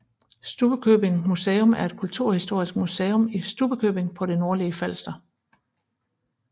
Stubbekøbing Museum er et kulturhistorisk museum i Stubbekøbing på det nordlige Falster